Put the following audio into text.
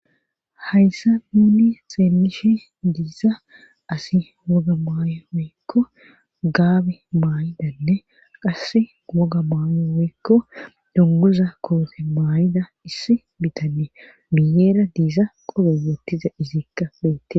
hayssa nuuni xeelishi diisa asi woga may woykko gaabe maay7idanne qasse woga maayo woykko donguza koofe maayida issi bitanne miyeera diisa qolo wottiza izikka feette